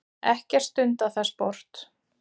Ekkert stundað það sport.